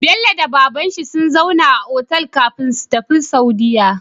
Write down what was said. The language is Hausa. Bello da babanshin sun zauna a otal kafin su tafi saudiya